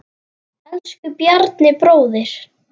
Elsku Bjarni bróðir.